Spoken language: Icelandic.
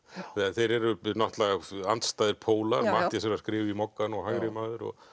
þeir eru náttúrulega andstæðir pólar Matthías er að skrifa í Moggann og hægrimaður og